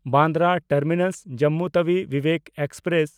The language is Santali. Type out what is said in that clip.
ᱵᱟᱱᱫᱨᱟ ᱴᱟᱨᱢᱤᱱᱟᱥ–ᱡᱚᱢᱢᱩ ᱛᱟᱣᱤ ᱵᱤᱵᱮᱠ ᱮᱠᱥᱯᱨᱮᱥ